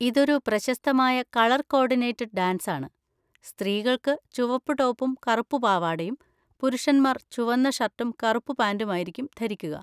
ഇതൊരു പ്രശസ്തമായ colour coordinated dance ആണ്; സ്ത്രീകൾ ചുവപ്പ് ടോപ്പും കറുപ്പ് പാവാടയും പുരുഷന്മാർ ചുവന്ന ഷർട്ടും കറുപ്പ് പാന്റും ആയിരിക്കും ധരിക്കുക.